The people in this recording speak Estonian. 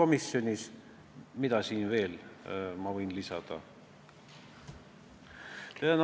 Mida ma sellele veel võin lisada?